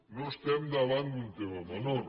no estem davant d’un tema menor